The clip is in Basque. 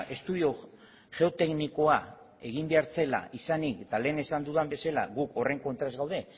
estudio geoteknikoa egin behar zela izanik eta lehen esan dudan bezala gu horren kontra ez gaude